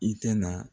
I tɛna